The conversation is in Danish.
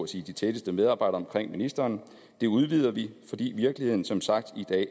sige de tætteste medarbejdere omkring ministeren det udvider vi fordi virkeligheden som sagt